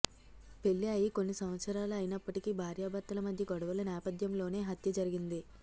పెళ్లి అయి కొన్ని సంవత్సరాలు అయినప్పటికీ భార్యభర్తల మధ్య గొడవల నేపథ్యంలోనే హత్య జరిగింది